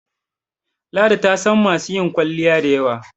ladi tasan masu yin kwalliya da yawa